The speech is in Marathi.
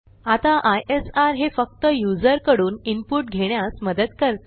आता आयएसआर हे फक्त युजर कडून इनपुट घेण्यास मदत करते